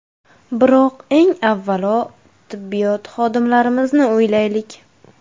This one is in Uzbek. Biroq, eng avvalo, tibbiyot xodimlarimizni o‘ylaylik.